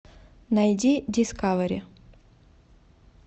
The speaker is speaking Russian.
найди дискавери